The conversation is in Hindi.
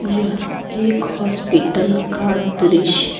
यह एक हॉस्पिटल का दृश्य है।